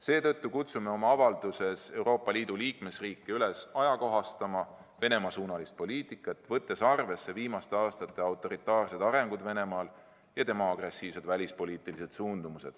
Seetõttu kutsume oma avalduses Euroopa Liidu liikmesriike üles ajakohastama Venemaa-suunalist poliitikat, võttes arvesse viimaste aastate autoritaarseid arenguid Venemaal ja tema agressiivseid välispoliitilisi suundumusi.